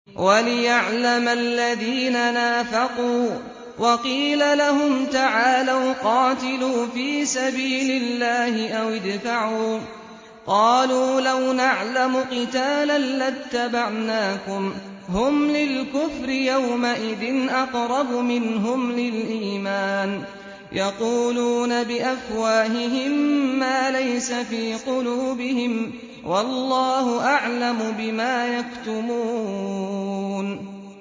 وَلِيَعْلَمَ الَّذِينَ نَافَقُوا ۚ وَقِيلَ لَهُمْ تَعَالَوْا قَاتِلُوا فِي سَبِيلِ اللَّهِ أَوِ ادْفَعُوا ۖ قَالُوا لَوْ نَعْلَمُ قِتَالًا لَّاتَّبَعْنَاكُمْ ۗ هُمْ لِلْكُفْرِ يَوْمَئِذٍ أَقْرَبُ مِنْهُمْ لِلْإِيمَانِ ۚ يَقُولُونَ بِأَفْوَاهِهِم مَّا لَيْسَ فِي قُلُوبِهِمْ ۗ وَاللَّهُ أَعْلَمُ بِمَا يَكْتُمُونَ